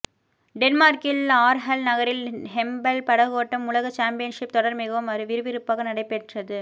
டென்மார்க்கின் Aarhus நகரில் Hempel படகோட்டம் உலக சம்பியன்ஷிப் தொடர் மிகவும் விறுவிறுப்பாக நடைபெற்